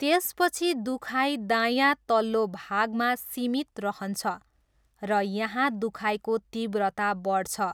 त्यसपछि दुखाइ दायाँ तल्लो भागमा 'सीमित' रहन्छ र यहाँ दुखाइको तीव्रता बढ्छ।